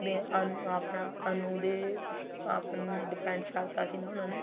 ਵੀ ਅਨੂ ਆਪਣਾ ਅਨੂ ਦੇ depend ਛੱਡ ਤਾ ਸੀ ਨਾ ਉਹਨਾਂ ਨੇ